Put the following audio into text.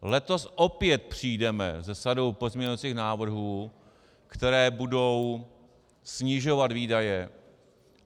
Letos opět přijdeme se sadou pozměňovacích návrhů, které budou snižovat výdaje.